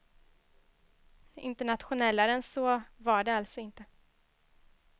Internationellare än så var det alltså inte.